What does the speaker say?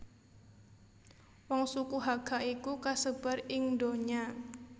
Wong suku Hakka iku kasebar ing ndonya